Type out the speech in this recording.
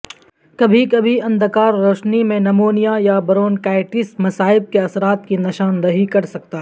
کبھی کبھی اندکار روشنی نمونیا یا برونکائٹس مصائب کے اثرات کی نشاندہی کر سکتا ہے